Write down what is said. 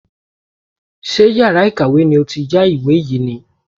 Ṣé yàrá ìkàwé ni ó ti yá ìwé yìí ni?